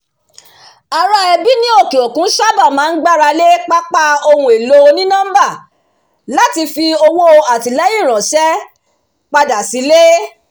ará ẹbí ní òkè òkun sáábà máa ń gbarale pápá ohun èlò oní-nọ́mbà láti fi ọwọ́ atilẹyin ránṣẹ́ padà sile